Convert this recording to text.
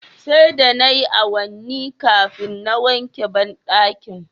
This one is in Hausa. Sai da nayi awanni kafin na wanke bandakin